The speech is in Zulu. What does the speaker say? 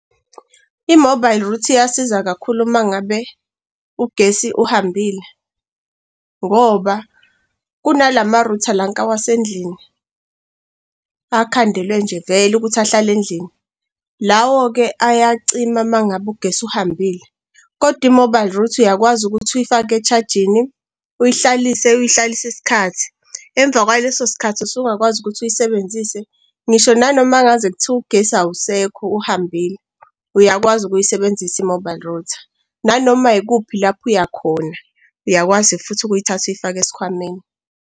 I-mobile router iyasiza kakhulu mangabe ugesi uhambile ngoba kunalama-router lanka wasendlini akhandelwe nje vele ukuthi ahlale endlini, lawo-ke ayacima mangabe ugesi uhambile. Kodwa i-mobile router uyakwazi ukuthi uyifake e-charge-ini. Uyihlalise uhlayihlalise iskhathi emva kwaleso sikhathi usungakwazi ukuthi uyisebenzise ngisho nanoma ngaze kuthiwe ugesi awusekho uhambile uyakwazi ukuyisebenzisa i-mobile router. Nanoma yikuphi lapho uyakhona, uyakwazi futhi ukuyithatha ukuyifake esikhwameni.